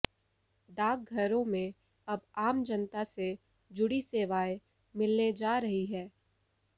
डाक घरों में अब आम जनता से जुड़ी सेवाएं मिलने जा रही है